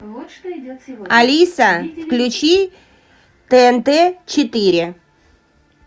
алиса включи тнт четыре